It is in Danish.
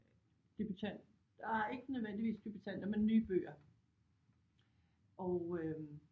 Debutant ah ikke nødvendigvis debutanter men nye bøger og øh